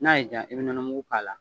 N'a ye diya i bɛ nɔnɔ mugu k'a la.